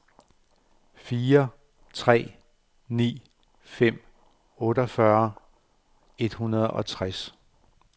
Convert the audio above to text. fire tre ni fem otteogfyrre et hundrede og tres